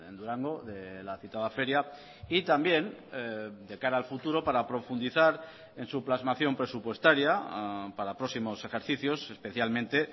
durango de la citada feria y también de cara al futuro para profundizar en su plasmación presupuestaria para próximos ejercicios especialmente